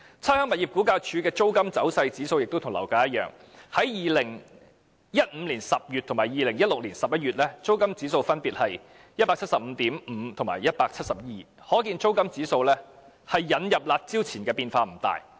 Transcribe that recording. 差餉物業估價署的租金走勢指數亦與樓價指數相像，在2015年10月及2016年11月，租金指數分別是 175.5 及 172， 可見租金指數在引入"辣招"前變化不大。